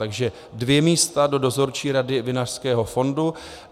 Takže dvě místa do Dozorčí rady Vinařského fondu.